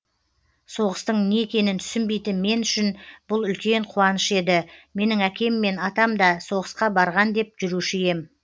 соғыстың не екенін түсінбейтін мен үшін бұл үлкен қуаныш еді менің әкем мен атамда соғысқа барған деп жүруші ем